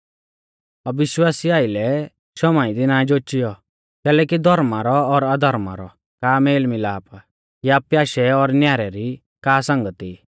अविश्वासिऊ आइलै शौमाई दी ना जोचियौ कैलैकि धौर्मा रौ और अधर्मा रौ का मेल मिलाप या प्याशै और न्यारै री का संगती